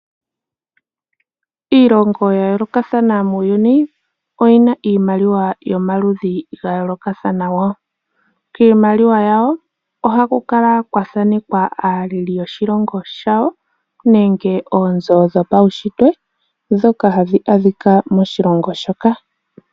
Iilongo ya yoolokathana muuyuni oyi na iimaliwa yomaludhi ga yoolokathana woo. Kiimaliwa yawo ohaku kala kwathanekwa aaleli yoshilongo shawo nenge oonzo dhopawunshitwe dhoka tadhi adhika moshilongo shoka.